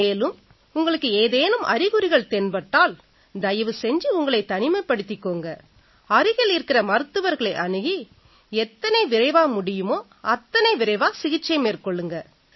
மேலும் உங்களுக்கு ஏதேனும் அறிகுறிகள் தென்பட்டால் தயவு செஞ்சு உங்களைத் தனிமைப்படுத்திக்குங்க அருகில இருக்கற மருத்துவர்களை அணுகி எத்தனை விரைவா முடியுமோ அத்தனை விரைவா சிகிச்சை மேற்கொள்ளுங்க